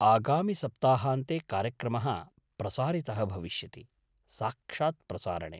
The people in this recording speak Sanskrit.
आगामिसप्ताहान्ते कार्यक्रमः प्रसारितः भविष्यति, साक्षात् प्रसारणे।